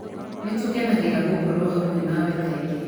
Nĩ tũkenagĩra gũkorũo hamwe nawe kaingĩ.